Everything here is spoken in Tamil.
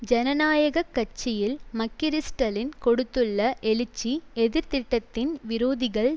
ஜனநாயக கட்சியில் மக்கிரிஸ்டலின் கொடுத்துள்ள எழுச்சி எதிர் திட்டத்தின் விரோதிகள்